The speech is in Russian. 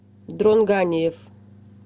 дрон ганиев